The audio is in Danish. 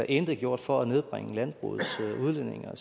intet gjort for at nedbringe landbrugets udledning af